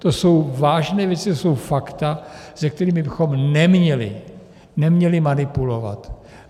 To jsou vážné věci, to jsou fakta, se kterými bychom neměli manipulovat.